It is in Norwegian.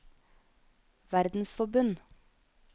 verdensforbund